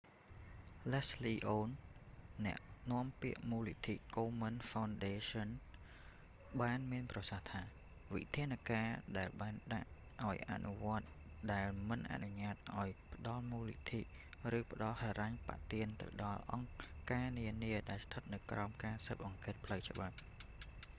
leslie aun អ្នកនាំពាក្យមូលនិធិ komen foundation បានមានប្រសាសន៍ថា វិធានការដែលបានដាក់ឲ្យអនុវត្តថ្មីដែលមិនអនុញ្ញាតឲ្យផ្ដល់មូលនិធិ ឬផ្ដល់ហិរញ្ញប្បទានទៅដល់អង្គការនានាដែលស្ថិតនៅក្រោមការស៊ើបអង្កេតផ្លូវច្បាប់